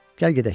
Gəl gedək.